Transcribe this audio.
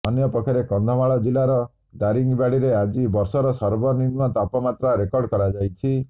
ଅନ୍ୟ ପକ୍ଷରେ କନ୍ଧମାଳ ଜିଲ୍ଲାର ଦାରିଙ୍ଗବାଡ଼ିରେ ଆଜି ବର୍ଷର ସର୍ବନିମ୍ନ ତାପମାତ୍ରା ରେକର୍ଡ କରାଯାଇଛି